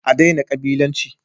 A daina kabilanci!